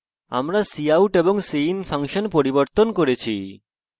এবং আমরা cout এবং cin ফাংশন পরিবর্তন করেছি